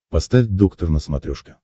поставь доктор на смотрешке